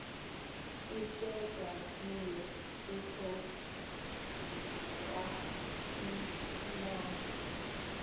isekwa kokuya kwahlulelana